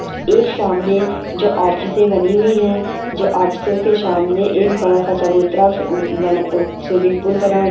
सामने जो ऑफिसे बनी हुई है जो ऑफिसे के सामने एक बातासा उः उः बना उह स्वीमिंग पूल बना--